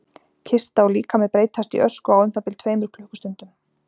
kista og líkami breytast í ösku á um það bil tveimur klukkustundum